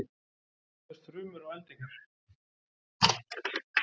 Hvernig myndast þrumur og eldingar?